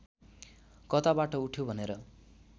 कताबाट उठ्यो भनेर